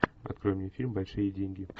открой мне фильм большие деньги